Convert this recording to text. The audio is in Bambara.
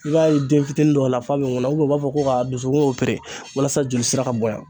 I b'a ye den fitini dɔw la f'a be ŋunna ubiyɛn u b'a fɔ ko k'a dusukun opere walasa jolisira ka bonya